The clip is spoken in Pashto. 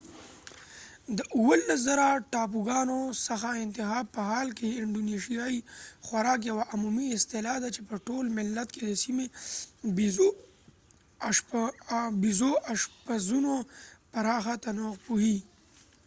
د 17،000 ټاپوګانو څخه انتخاب په حال کې، انډونیشیايي خوراک یوه عمومي اصطلاح ده چې په ټول ملت کې د سیمه ییزو اشپزونو پراخه تنوع پوښي